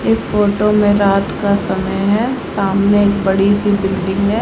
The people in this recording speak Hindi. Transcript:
इस फोटो में रात का समय है सामने एक बड़ी सी बिल्डिंग है।